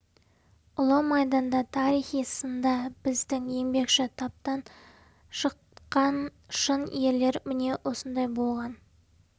ұлы майданда тарихи сында біздің еңбекші таптан шыққан шын ерлер міне осындай болған